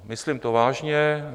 Myslím to vážně.